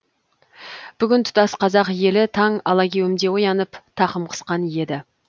бүгін тұтас қазақ елі таң алагеуімде оянып тақым қысқан еді